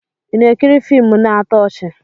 Ị na-ekiri fiimu na-atọ ọchị?